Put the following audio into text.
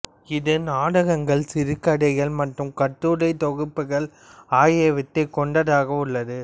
இது நாடகங்கள் சிறுகதைகள் மற்றும் கட்டுரைத் தொகுப்புகள் ஆகியவற்றைக் கொண்டதாக உள்ளது